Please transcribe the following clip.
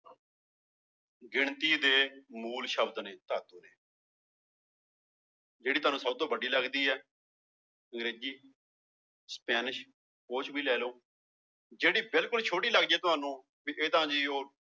ਗਿਣਤੀ ਦੇ ਮੂਲ ਸ਼ਬਦ ਨੇ ਧਾਤੂ ਦੇ ਜਿਹੜੀ ਤੁਹਾਨੂੰ ਸਭ ਤੋਂ ਵੱਡੀ ਲੱਗਦੀ ਹੈ ਅੰਗਰੇਜ਼ੀ, ਸਪੈਨਿਸ਼ ਉਹ ਚ ਵੀ ਲੈ ਲਓ, ਜਿਹੜੀ ਬਿਲਕੁਲ ਛੋਟੀ ਲੱਗਦੀ ਹੈ ਤੁਹਾਨੂੰ ਵੀ ਇਹ ਤਾਂ ਜੀ ਉਹ